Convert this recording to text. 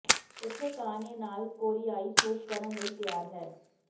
ਇੱਥੇ ਘਾਹ ਨੇ ਨਾਲ ਕੋਰੀਆਈ ਸੂਪ ਕਰਨ ਲਈ ਤਿਆਰ ਹੈ